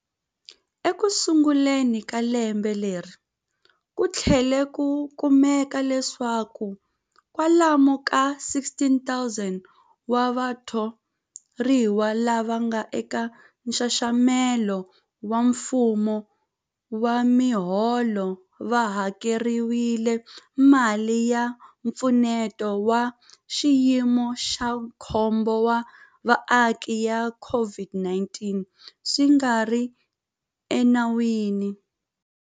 Ekusunguleni ka lembe leri, ku tlhele ku kumeka leswaku kwalomu ka 16,000 wa vatho riwa lava nga eka nxaxamelo wa mfumo wa miholo va hakeriwile mali ya Mpfuneto wa Xiyimo xa Khombo wa Vaaki ya COVID-19 swi nga ri enawini.